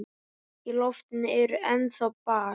Í loftinu er ennþá ball.